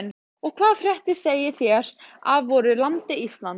Og hvaða fréttir segið þér af voru landi Íslandi?